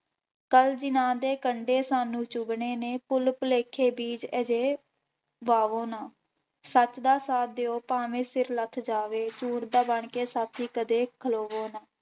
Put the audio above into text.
ਕੱਲ੍ਹ ਜਿੰਨ੍ਹਾਂ ਦੇ ਕੰਡੇ ਸਾਨੂੰ ਚੁੱਗਣੇ ਨੇ, ਭੁੁੱਲ ਭੁਲੇਖੇ ਬੀਜ਼ ਅਜਿਹੇ ਬਾਵੋ ਨਾ, ਸੱਚ ਦਾ ਸਾਥ ਦਿਓ ਭਾਵੇਂ ਸਿਰ ਲੱਥ ਜਾਵੇ ਚੂਰ ਦਾ ਬਣਕੇ ਸਾਥੀ ਕਦੇ ਖਲੋਵੋ ਨਾ।